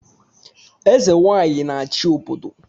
Eze Nwanyị a-achị obodo